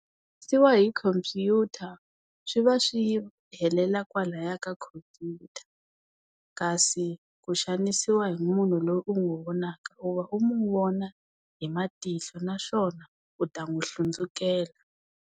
hi khompyuta swi va swi helela kwalaya ka khompyuta kasi ku xanisiwa hi munhu loyi u n'wi vonaka u va u mu vona hi matihlo naswona u ta n'wi hlundzukela.